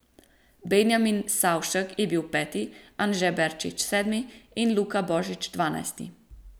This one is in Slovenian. Benjamin Savšek je bil peti, Anže Berčič sedmi in Luka Božič dvanajsti.